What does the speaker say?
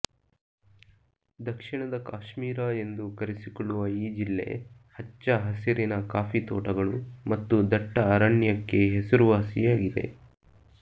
ದಕ್ಷಿಣದ ಕಾಶ್ಮೀರ ಎಂದು ಕರೆಸಿಕೊಳ್ಳುವ ಈ ಜಿಲ್ಲೆ ಹಚ್ಚ ಹಸಿರಿನ ಕಾಫಿ ತೋಟಗಳು ಮತ್ತು ದಟ್ಟ ಅರಣ್ಯಕ್ಕೆ ಹೆಸರುವಾಸಿ ಆಗಿದೆ